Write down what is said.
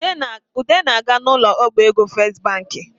Ude na-aga n’ ụlọ ọbaego festibanki